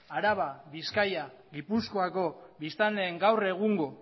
araba bizkaia eta gipuzkoako biztanleen gaur egungo